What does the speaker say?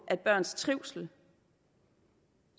at børns trivsel